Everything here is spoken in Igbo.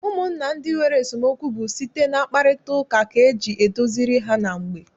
Ụmụnna ndị nwere esemokwu bụ site na mkparịtaụka ka eji edoziri ha na mgbe.